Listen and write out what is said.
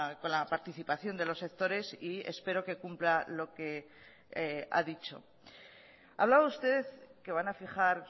con la participación de los sectores y espero que cumpla lo que ha dicho hablaba usted que van a fijar